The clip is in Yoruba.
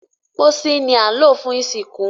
pósí ni a lò fún ìsìnkú